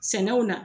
Sɛnɛw na